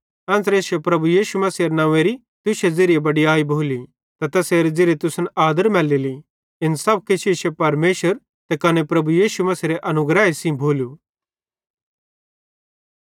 एन्च़रे इश्शे प्रभु यीशु मसीहेरे नंव्वेरी तुश्शे ज़िरिये बडीयाई भोली ते तैसेरे ज़िरिये तुसन आदर मैलेली इन सब किछ इश्शे परमेशर त कने प्रभु यीशु मसीहेरे अनुग्रहे सेइं भोलू